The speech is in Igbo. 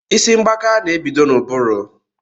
Isi mgbaka n'ebido n'ụbụrụ